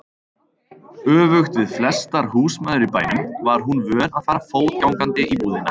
Öfugt við flestar húsmæður í bænum var hún vön að fara fótgangandi í búðina.